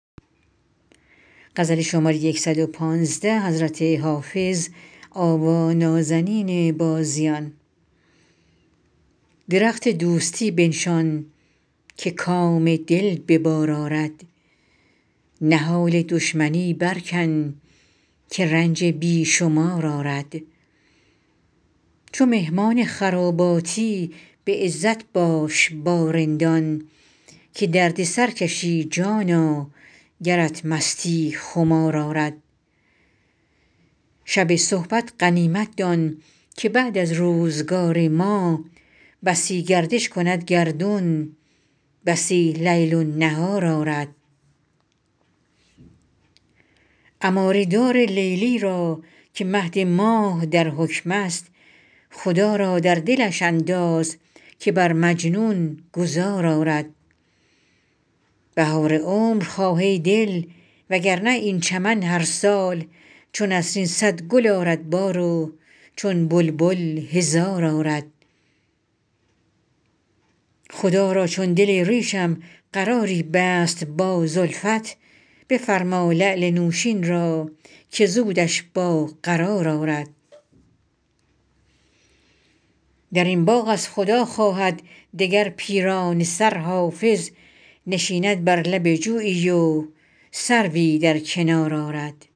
درخت دوستی بنشان که کام دل به بار آرد نهال دشمنی برکن که رنج بی شمار آرد چو مهمان خراباتی به عزت باش با رندان که درد سر کشی جانا گرت مستی خمار آرد شب صحبت غنیمت دان که بعد از روزگار ما بسی گردش کند گردون بسی لیل و نهار آرد عماری دار لیلی را که مهد ماه در حکم است خدا را در دل اندازش که بر مجنون گذار آرد بهار عمر خواه ای دل وگرنه این چمن هر سال چو نسرین صد گل آرد بار و چون بلبل هزار آرد خدا را چون دل ریشم قراری بست با زلفت بفرما لعل نوشین را که زودش با قرار آرد در این باغ از خدا خواهد دگر پیرانه سر حافظ نشیند بر لب جویی و سروی در کنار آرد